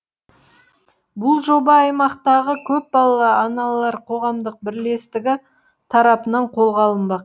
бұл жоба аймақтағы көпбалалы аналар қоғамдық бірлестігі тарапынан қолға алынбақ